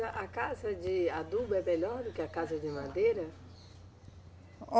A casa de adubo é melhor do que a casa de madeira?